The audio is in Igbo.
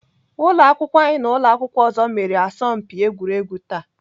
Ụlọakwụkwọ anyị na ụlọakwụkwọ ọzọ mere asọmpi egwuregwu taa